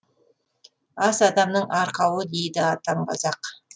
ас адамның арқауы дейді атам қазақ